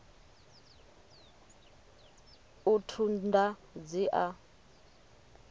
u ṱun ḓa dzi a